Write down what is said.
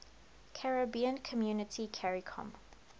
caribbean community caricom